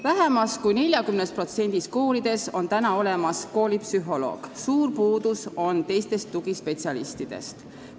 Vähem kui 40%-s koolidest on olemas koolipsühholoog, suur puudus on teistest tugispetsialistidest.